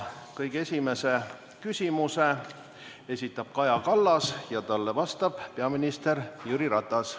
Kõige esimese küsimuse esitab Kaja Kallas ja talle vastab peaminister Jüri Ratas.